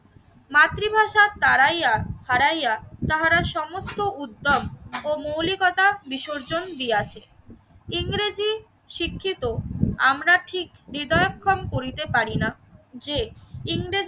মাতৃভাষা তারাইয়া হারাইয়া তাহারা সমস্ত উদ্যম ও মৌলিকতা বিসর্জন দিয়াছে। ইংরেজি শিক্ষিত, আমরা ঠিক হৃদয়ক্ষন করিতে পারি না যে ইংরেজি